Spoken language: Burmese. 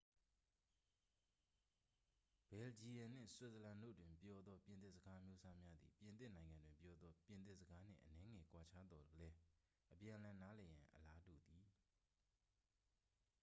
ဘယ်လ်ဂျီယမ်နှင့် ဆွစ်ဇာလန်တို့တွင်ပြောသော ပြင်သစ်စကားအမျိုးအစားများသည် ပြင်သစ်နိုင်ငံတွင်ပြောသော ပြင်သစ်စကားနှင့် အနည်းငယ်ကွာခြားသော်လည်း အပြန်အလှန်နားလည်ရန် အလားတူသည်